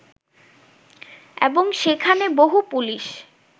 এবং সেখানে বহু পুলিশ